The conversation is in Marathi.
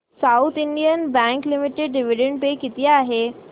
south Indian bank limited dividend pay किती आहे